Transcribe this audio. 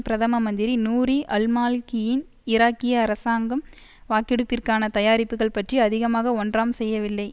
பிரதம மந்திரி நூரி அல்மாலிகியின் ஈராக்கிய அரசாங்கம் வாக்கெடுப்பிற்கான தயாரிப்புக்கள் பற்றி அதிகமாக ஒன்றாம் செய்யவில்லை